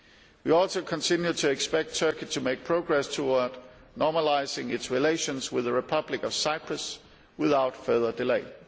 We also continue to expect Turkey to make progress towards normalising its relations with the Republic of Cyprus without further delay.